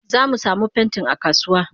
Zamu samu pentin akasuwa.